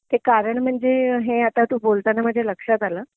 ते कारण म्हणजे हे आता तू बलताना माझ्या लक्षात आलं